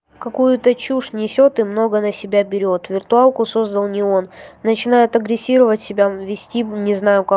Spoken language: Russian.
какую-то чушь несёт и много на себя берёт виртуалку создал не он начинает агрессировать себя вести не знаю ка